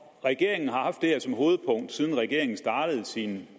og regeringen har haft det her som hovedpunkt siden regeringen startede sin